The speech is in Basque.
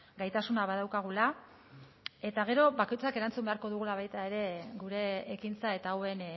gaitasuna badaukagula eta gero bakoitzak erantzun beharko dugula baita ere gure ekintza eta hauen